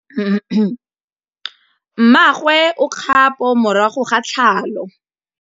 Mmagwe o kgapô morago ga tlhalô.